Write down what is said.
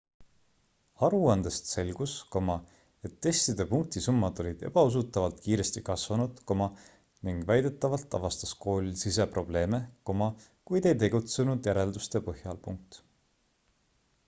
aruandest selgus et testide punktisummad olid ebausutavalt kiiresti kasvanud ning väidetavalt avastas kool siseprobleeme kuid ei tegutsenud järelduste põhjal